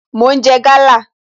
Mo ń jẹ gala